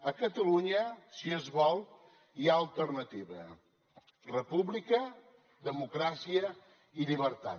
a catalunya si es vol hi ha alternativa república democràcia i llibertat